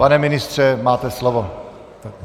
Pane ministře, máte slovo.